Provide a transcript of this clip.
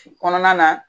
Kɔnɔna na